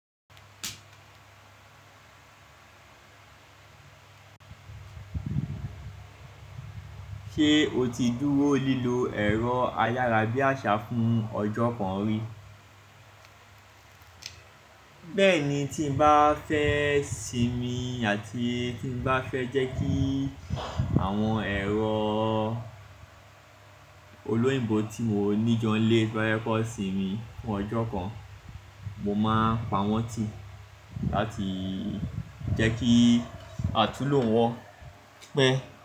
Ṣé o ti dúró lílo ẹ̀rọ ayárabíàṣá fún ọjọ́ kan rí? Bẹ́ẹ̀ni, tí n bá fẹ́ sinmi àti tí n bá fẹ́ jẹ́ kí àwọn ẹ̀rọ olóyìnbó tí mo ní jọ nlé tí bá fẹ kàn sinmi fún ọjọ́ kan, mo máa pa wọ́n tì láti jẹ́ kí àtúlò wọn pẹ́